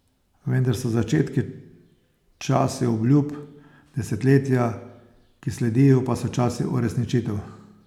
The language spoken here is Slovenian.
Vendar so začetki časi obljub, desetletja, ki sledijo, pa so časi uresničitev.